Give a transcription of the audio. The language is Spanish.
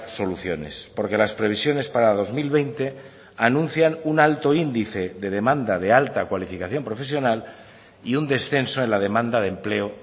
soluciones porque las previsiones para dos mil veinte anuncian un alto índice de demanda de alta cualificación profesional y un descenso en la demanda de empleo